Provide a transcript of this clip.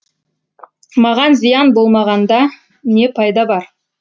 маған зиян болмағанда не пайда бар